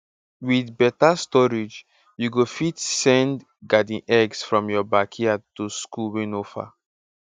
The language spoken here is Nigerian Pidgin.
with better storage you go fit send garden eggs from your backyard to school wey no far